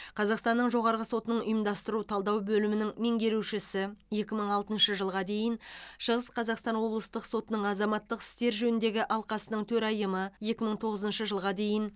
қазақстанның жоғарғы сотының ұйымдастыру талдау бөлімінің меңгерушісі екі мың алтыншы жылға дейін шығыс қазақстан облыстық сотының азаматтық істер жөніндегі алқасының төрайымы екі мың тоғызыншы жылға дейін